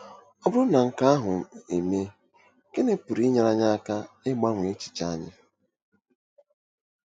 Ọ bụrụ na nke ahụ emee, gịnị pụrụ inyere anyị aka ịgbanwe echiche anyị?